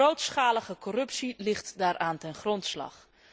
Grootschalige corruptie ligt daaraan ten grondslag.